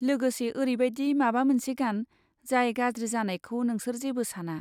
लोगोसे, ओरैबायदि माबा मोनसे गान, जाय गाज्रि जानायखौ नोंसोर जेबो साना।